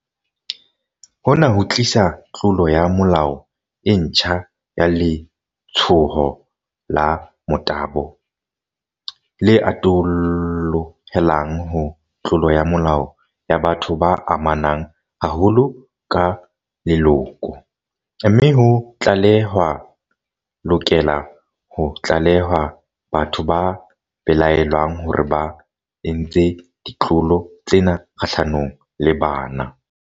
Hona ho tlisa tlolo ya molao e ntjha ya letshoho la motabo, le atollohelang ho tlolo ya molao ya batho ba amanang haholo ka leloko, mme ho tlale-hwa lokela ho tlalehwa batho ba belaellwang hore ba entse ditlolo tsena kgahlanong le bana.